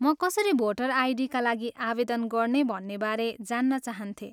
म कसरी भोटर आइडीका लागि आवेदन गर्ने भन्नेबारे जान्न चाहन्थेँ।